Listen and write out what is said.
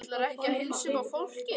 Ætlarðu ekki að heilsa upp á fólkið?